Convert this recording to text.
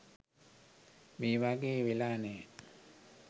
මේ වගේ වෙලා නැහැ.